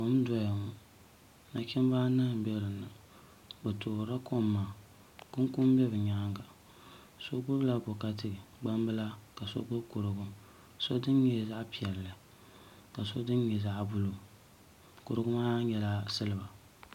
Kom n doya ŋo nachimbi anahi n bɛ dinni bi toorila kom maa kunkun bɛ bi nyaanga so gbubila nokati gbambila ka so gbubi kopu so dini nyɛ zaɣ piɛlli ka so dini nyɛ zaɣ buluu kurigu maa nyɛla silba